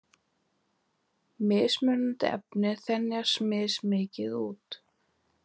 Mismunandi efni þenjast mismikið út.